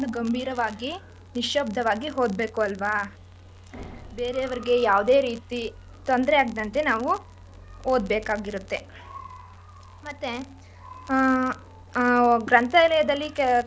ಗಂಭೀರವಾಗಿ ನಿಶಬ್ದವಾಗಿ ಹೋದ್ಬೇಕು ಅಲ್ವ ಬೇರೆಯವರಿಗೆ ಯಾವ್ದೆ ರೀತಿ ತೊಂದ್ರೆಯಾಗದಂತ್ತೆ ನಾವು ಓದ್ಬೇಕಾಗಿರುತ್ತೆ ಮತ್ತೆ ಹಾ ಆ ಗ್ರಂಥಾಲಯ್ದಲ್ಲಿ,